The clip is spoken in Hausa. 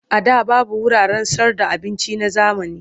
A da babu wuraren sayarda abinci na zamani.